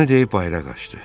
Bunu deyib bayıra qaçdı.